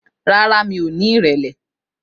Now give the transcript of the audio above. Rárá, mi ò ní ìrẹ̀lẹ̀